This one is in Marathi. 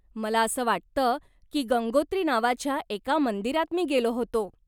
मला असं वाटतं की गंगोत्री नावाच्या एका मंदिरात मी गेलो होतो.